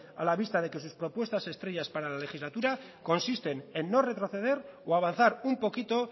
a la vista de que sus propuestas estrellas para la legislatura consisten en no retroceder o avanzar un poquito